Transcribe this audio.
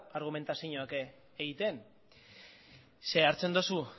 argumentazioak egiten ze hartzen duzu